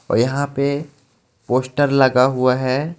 यहां पे पोस्टर लगा हुआ है.